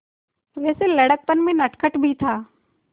वैसे लड़कपन में नटखट भी था